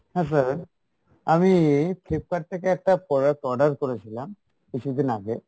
হ্যাঁ sir আমি Flipkart থেকে একটা product order করেছিলাম কিছুদিন আগে,